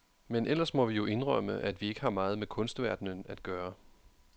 Men ellers må vi jo indrømme, at vi ikke har meget med kunstverdenen at gøre.